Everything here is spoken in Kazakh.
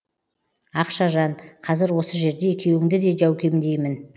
ақшажан қазір осы жерде екеуіңді де жәукемдеймін